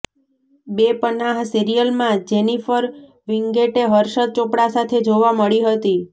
બેપનાહ સીરિયલમાં Jennifer Winget Harshad Chopda સાથે જોવા મળી હતી